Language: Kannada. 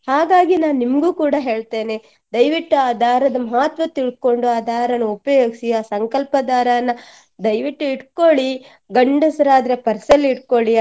ಹಾಗಾಗಿ ನಾನ್ ನಿಮ್ಗೂ ಕೂಡಾ ಹೇಳ್ತೇನೆ ದಯವಿಟ್ಟು ಆ ದಾರದ ಮಹತ್ವ ತಿಳ್ಕೊಂಡು ಆ ದಾರನ ಉಪಯೋಗಿಸಿ ಆ ಸಂಕಲ್ಪ ದಾರನ ದಯವಿಟ್ಟು ಇಟ್ಕೊಳ್ಳಿ ಗಂಡಸ್ರಾದ್ರೆ purse ಅಲ್ಲಿ ಇಟ್ಕೊಳ್ಳಿ.